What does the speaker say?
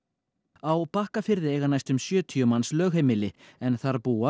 á Bakkafirði eiga næstum sjötíu manns lögheimili en þar búa